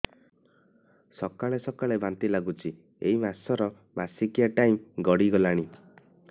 ସକାଳେ ସକାଳେ ବାନ୍ତି ଲାଗୁଚି ଏଇ ମାସ ର ମାସିକିଆ ଟାଇମ ଗଡ଼ି ଗଲାଣି